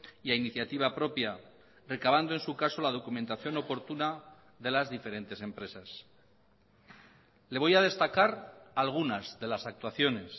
y a iniciativa propia recavando en su caso la documentación oportuna de las diferentes empresas le voy a destacar algunas de las actuaciones